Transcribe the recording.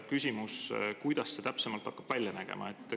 Küsimus: kuidas see täpsemalt hakkab välja nägema?